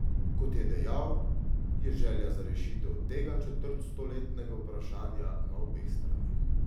Kot je dejal, je želja za rešitev tega četrtstoletnega vprašanja na obeh straneh.